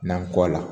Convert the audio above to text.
N'an kɔ a la